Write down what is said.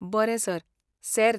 बरें सर, सेर्त.